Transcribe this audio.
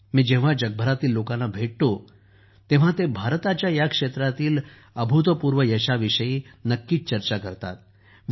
मी जेव्हा जगभरातील लोकांना भेटतो तेव्हा ते भारताच्या ह्या क्षेत्रातील अभूतपूर्व यशाविषयी नक्की चर्चा करतात